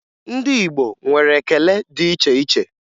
Ndị Igbo nwere ekele dị iche iche